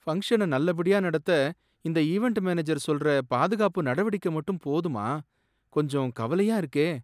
பங்க்ஷன நல்லபடியா நடத்த இந்த ஈவென்ட் மேனேஜர் சொல்ற பாதுகாப்பு நடவடிக்கை மட்டும் போதுமா? கொஞ்சம் கவலையா இருக்கே!